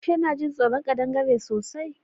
Aisha na jin tsoron ƙadangare sosai